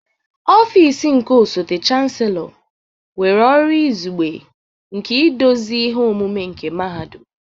Ọfịs nke osote Chancellor nwere ọrụ izugbe nke iduzi ihe omume nke Mahadum.